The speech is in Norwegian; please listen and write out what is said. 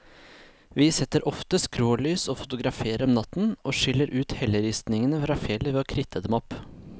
Vi setter ofte skrålys og fotograferer om natten, og skiller ut helleristningen fra fjellet ved å kritte dem opp.